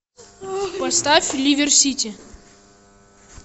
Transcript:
поставь ливер сити